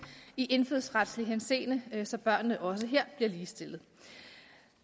i indfødsretlig henseende så børnene også her bliver ligestillet